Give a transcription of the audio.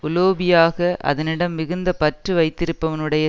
உலோபியாக அதனிடம் மிகுந்த பற்று வைத்திருப்பனுடைய